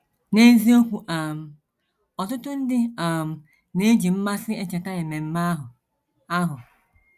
N’eziokwu um, ọtụtụ ndị um na - eji mmasị echeta ememe ahụ. ahụ.